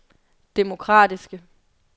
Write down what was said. demokratiske